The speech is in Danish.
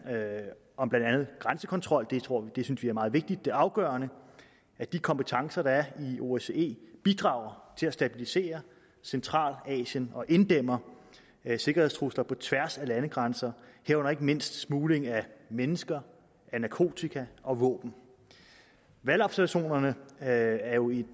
om blandt andet grænsekontrol det synes vi er meget vigtigt det er afgørende at de kompetencer der er i osce bidrager til at stabilisere centralasien og inddæmmer sikkerhedstrusler på tværs af landegrænser herunder ikke mindst smugling af mennesker af narkotika og våben valgobservationerne er jo et